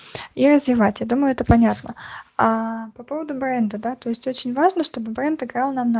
развивать я думаю это понятно а по поводу бренда то есть очень важно чтобы в инстаграм